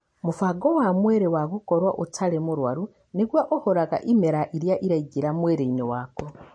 Mũbango wa mwĩrĩ wa gũkorwo ũtarĩ mũrwaru nĩguo ũhũraga ĩmera iria iraingĩra mwĩrĩinĩ waku.